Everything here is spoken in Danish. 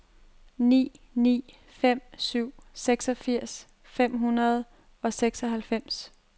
ni ni fem syv seksogfirs fem hundrede og seksoghalvfems